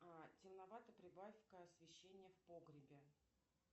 темновато прибавь ка освещение в погребе